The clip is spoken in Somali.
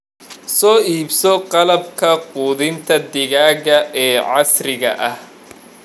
Soo iibso qalabka quudinta digaaga ee casriga ah.